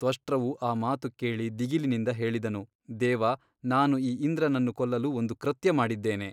ತ್ವಷ್ಟೃವು ಆ ಮಾತು ಕೇಳಿ ದಿಗಿಲಿನಿಂದ ಹೇಳಿದನು ದೇವ ನಾನು ಈ ಇಂದ್ರನನ್ನು ಕೊಲ್ಲಲು ಒಂದು ಕೃತ್ಯ ಮಾಡಿದ್ದೇನೆ.